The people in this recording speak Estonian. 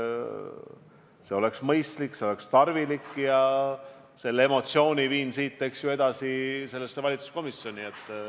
See oleks mõistlik, see oleks tarvilik ja selle emotsiooni viin siit edasi valitsuse komisjoni.